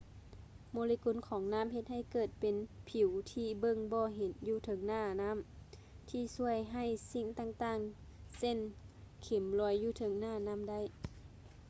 ໂມເລກຸນຂອງນ້ຳເຮັດໃຫ້ເກີດເປັນຜິວທີ່ເບິ່ງບໍ່ເຫັນຢູ່ເທິງໜ້ານ້ຳ ທີ່ຊ່ວຍໃຫ້ສິ່ງຕ່າງໆ ເຊັ່ນ ເຂັມລອຍຢູ່ເທິງໜ້ານ້ຳໄດ້